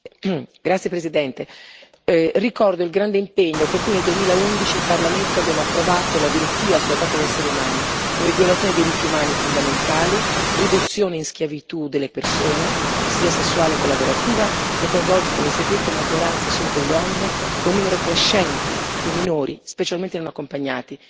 Signora Presidente, onorevoli colleghi, ricordo il grande impegno con cui nel 2011 in Parlamento abbiamo approvato la direttiva sulla tratta degli esseri umani come violazione dei diritti umani fondamentali, riduzione in schiavitù delle persone, sia sessuale che lavorativa, che coinvolge come si è detto la maggioranza assoluta di donne e un numero crescente di minori, specialmente non accompagnati.